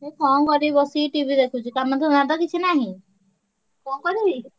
ଏଇ କଣ କରିବି ବସିକି TV ଦେଖୁଛି କାମ ଧନ୍ଦା ତ କିଛି ନାହିଁ କଣ କରିବି।